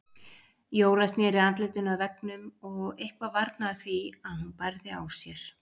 Jóra sneri andlitinu að veggnum og eitthvað varnaði því að hún bærði á sér.